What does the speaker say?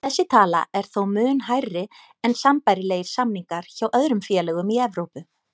Þessi tala er þó mun hærri en sambærilegir samningar hjá öðrum félögum í Evrópu.